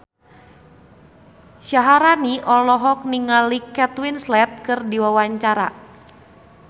Syaharani olohok ningali Kate Winslet keur diwawancara